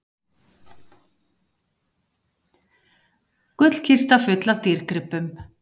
Gullkista full af dýrgripum